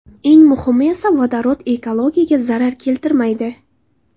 Eng muhimi esa vodorod ekologiyaga zarar keltirmaydi.